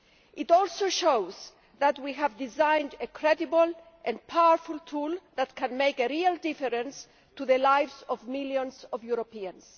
It also shows that we have designed a credible and powerful tool that can make a real difference to the lives of millions of Europeans.